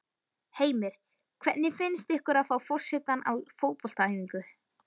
Heimir: Hvernig finnst ykkur að fá forsetann á fótboltaæfingu?